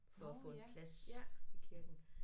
For at få en plads i kirken